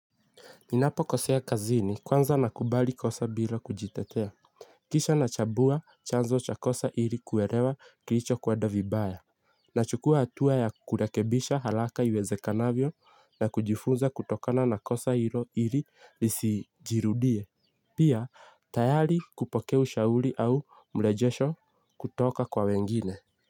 Ninapo kosea kazini kwanza nakubali kosa bila kujitetea. Kisha na chabua chanzo cha kosa iri kuerewa kilicho kweda vibaya. Nachukua hatua ya kurekebisha halaka iweze kanavyo na kujifunza kutokana na kosa hilo iri lisijirudie. Pia tayari kupoka ushauri au mrejesho kutoka kwa wengine.